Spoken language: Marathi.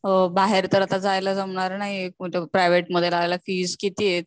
बाहेर तर आता जायला जमणार नाहीये, प्रायव्हेट मध्ये फीस कितीये